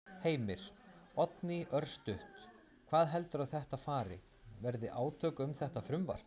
Heimir: Oddný, örstutt, hvað heldurðu að þetta fari, verði átök um þetta frumvarp?